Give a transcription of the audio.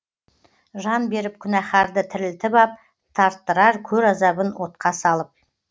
жан беріп күнәһәрді тірілтіп ап тарттырар көр азабын отқа салып